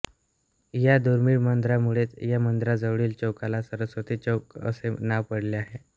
या दुर्मिळ मंदिरामुळेच या मंदिराजवळील चौकाला सरस्वती चौक असे नाव पडले आहे